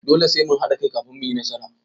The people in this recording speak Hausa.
Dole sai mun haɗa kai kafin mu yi nasara.